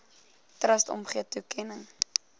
trust omgee toekenning